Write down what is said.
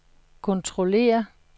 kontrollere